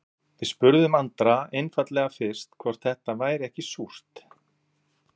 Við spurðum Andra einfaldlega fyrst hvort þetta væri ekki súrt?